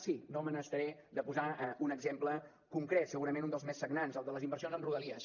sí no me n’estaré de posar un exemple concret segurament un dels més sagnants el de les inversions en rodalies